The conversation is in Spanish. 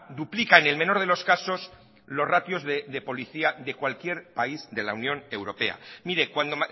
duplica en el menor de los casos los ratios de policía de cualquier país de la unión europea mire cuando